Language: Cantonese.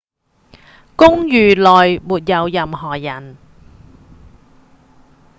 公寓內沒有任何人